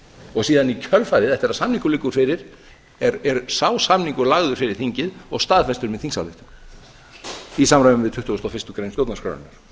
og síðan í kjölfarið eftir að samningur liggur fyrir er sá samningur lagður fyrir þingið og staðfestur með þingsályktun í samræmi við tuttugustu og fyrstu grein stjórnarskrárinnar